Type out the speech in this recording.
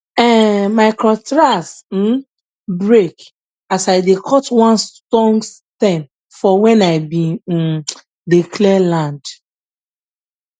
um my cutlass um break as i dey cut one strong stem for when i be um dey clear land